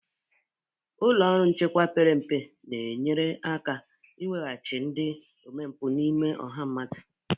Ụlọ ọrụ nchekwa perempe na-enyere aka ịweghachi ndị omempụ n'ime ọha mmadụ.